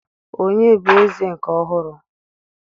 Onye bụ eze nke ọhụrụ?